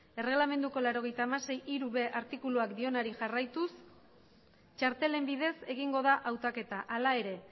erreglamenduko laurogeita hamasei puntu hiru b artikuluak dionari jarraituz txartelen bidez egingo da hautaketa hala ere